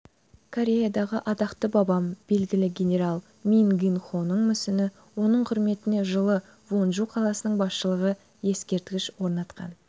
кореядағы атақты бабам белгілі генерал мин гын-хоның мүсіні оның құрметіне жылы вонжу қаласының басшылығы ескерткіш орнатқан